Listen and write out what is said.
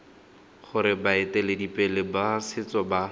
gore baeteledipele ba setso ba